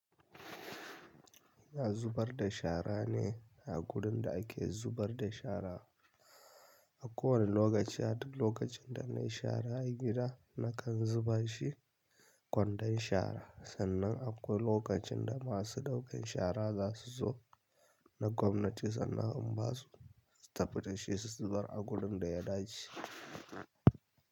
Ina zubar da shara ne a gurin da ake zubar da shara. A kowane lokaci, har lokacin da nayi shara a gida nakan zuba shi kwandon shara. Sannan akwai lokacin da masu ɗaukan shara za su zo na gwamnati sannan in basu su tafi da shi su zubar a gurin da ya dace.